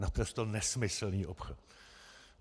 Naprosto nesmyslný obchod.